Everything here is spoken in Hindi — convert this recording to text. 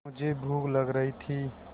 मुझे भूख लग रही थी